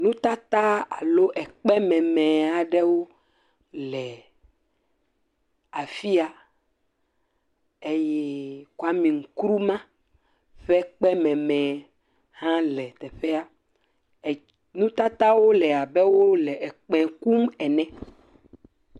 Nutata alo ekpe meme aɖewo le afi ya, eye Kwemi Nkrumah ƒe ekpe meme hã le teƒea, nutatawo le abe wole ekpẽ kum ene.